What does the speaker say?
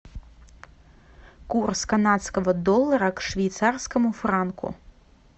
курс канадского доллара к швейцарскому франку